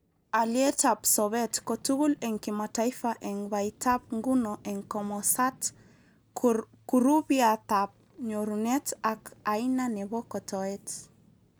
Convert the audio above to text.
Alietab sobet kotugul eng kimataifa eng baitab nguno eng komosat, kurupiatab nyurunet ak aina nebo kotoet